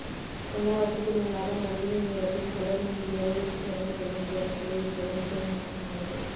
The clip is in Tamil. எல்லாவற்றுக்கும் மேலாக மனிதனின் இறப்பில் கூட நிம்மதியாக இறுதிச் சடங்கு செய்ய முடியாத நிலை என்பது மிகவும் மோசமானது